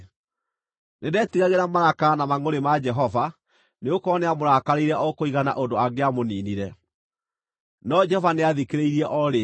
Nĩndetigagĩra marakara na mangʼũrĩ ma Jehova, nĩgũkorwo nĩamũrakarĩire o kũigana ũndũ angĩamũniinire. No Jehova nĩathikĩrĩirie o rĩngĩ.